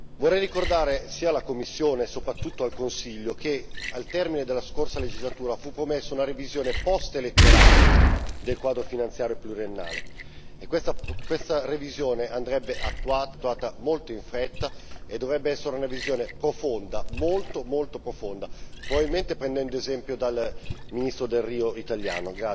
Vorrei ricordare sia alla Commissione, e soprattutto al Consiglio, che al termine della scorsa legislatura fu promesso una revisione postelettorale del quadro finanziario pluriennale e questa revisione andrebbe attuata molto in fretta e dovrebbe essere una revisione profonda, molto molto profonda, probabilmente prendendo esempio dal ministro Delrio italiano.